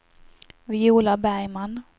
Viola Bergman